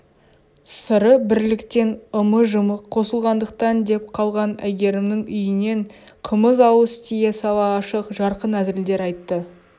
сыры бірліктен ымы-жымы қосылғандықтан деп қалған әйгерімнің үйінен қымыз ауыз тие сала ашық жарқын әзілдер айтты